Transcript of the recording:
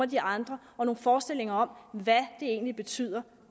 de andre og nogle forestillinger om hvad det egentlig betyder